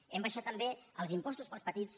hem abaixat també els impostos per als petits